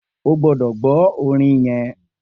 O gbọ́dọ̀ gbọ orin yẹn